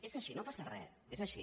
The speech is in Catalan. és així no passa re és així